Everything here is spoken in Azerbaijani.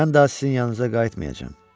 Mən daha sizin yanınıza qayıtmayacam.